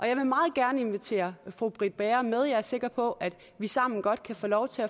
jeg vil meget gerne invitere fru britt bager med jeg er sikker på at vi sammen godt kan få lov til